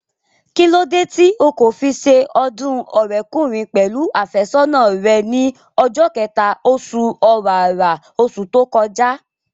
Kíló dé tí o kò fi se ọdún ọ̀rẹ́kùnrin pẹ̀lú àfẹ́sọ́nà rẹ ní ọjọ́ kẹta, osù ọ̀wàrà, osù tó kọjá?